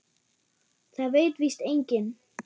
Það veit víst enginn.